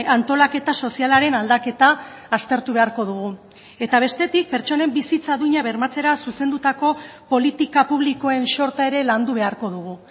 antolaketa sozialaren aldaketa aztertu beharko dugu eta bestetik pertsonen bizitza duina bermatzera zuzendutako politika publikoen xorta ere landu beharko dugu